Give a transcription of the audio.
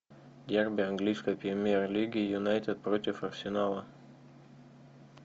дерби английской премьер лиги юнайтед против арсенала